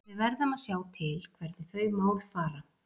Við verðum að sjá til hvernig þau mál fara.